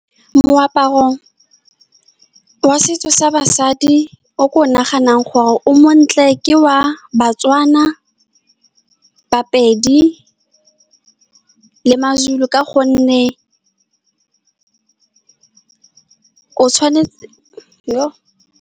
Moaparong wa setso sa basadi, o ke o naganang gore o montle, ke wa Batswana, Bapedi le maZulu, ka gonne o tshwanetse, yoh.